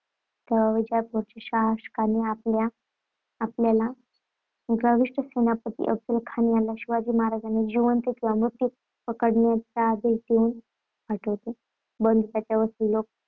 विजापूरच्या शासकाने आपला आपल्याला गर्विष्ठ सेनापती अफझलखान याला शिवाजी महाराजांना जिवंत किंवा मृत पकडण्याचा आदेश देऊन पाठवले. बंधुत्वाचे व